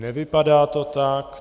Nevypadá to tak.